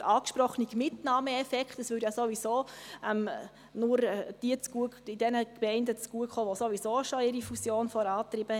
Der angesprochene Mitnahmeeffekt käme ja ohnehin nur den Gemeinden zugute, die ihre Fusion schon vorangetrieben haben.